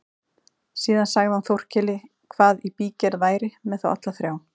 Síðan sagði hann Þórkeli hvað í bígerð væri með þá alla þrjá.